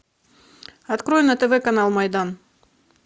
открой на тв канал майдан